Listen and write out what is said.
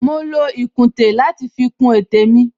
Mo lo ìkùntè láti fi kun etè mi